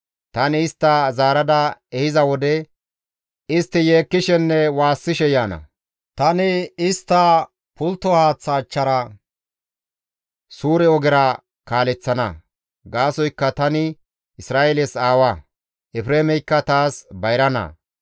Tani istta zaarada ehiza wode istti yeekkishenne woossishe yaana. Tani istta pultto haaththa achchara suure ogera kaaleththana. Gaasoykka tani Isra7eeles aawa; Efreemeykka taas bayra naa.